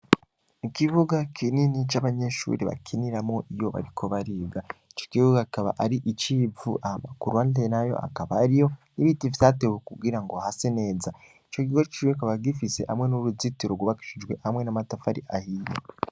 I kibuga kinini c'abanyeshuri bakiniramo iyo barikobarigaico ikibuga akaba ari icivu amakurande nayo akaba ari yo n'ibiti vyatewe kugira ngo hase neza ico gigo ciwe kaba gifise hamwe n'uruzitiro urwubakishijwe hamwe n'amatafari ahiya.